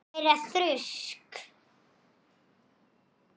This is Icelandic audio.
Því þannig var hann Gunni.